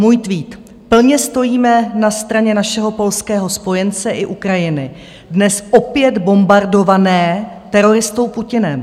Můj tweet: "Plně stojíme na straně našeho polského spojence i Ukrajiny, dnes opět bombardované teroristou Putinem.